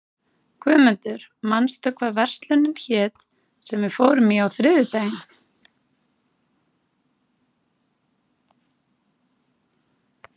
Guðmundur, manstu hvað verslunin hét sem við fórum í á þriðjudaginn?